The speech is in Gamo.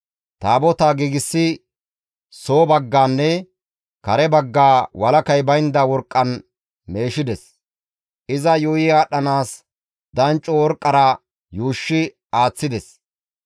Taabotaa giigsidi soo bagganne kare baggaa walakay baynda worqqan meeshides; iza yuuyi aadhdhanaas dancco worqqara yuushshi aaththides.